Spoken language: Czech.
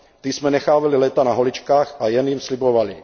Ty jsme nechávali léta na holičkách a jen jim slibovali.